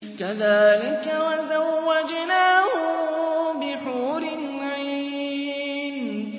كَذَٰلِكَ وَزَوَّجْنَاهُم بِحُورٍ عِينٍ